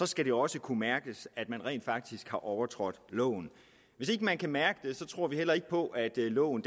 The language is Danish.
skal det også kunne mærkes at man rent faktisk har overtrådt loven hvis ikke man kan mærke det tror vi heller ikke på at loven